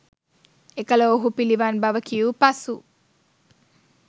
එකල ඔවුහු පිළිවන් බව කියූ පසු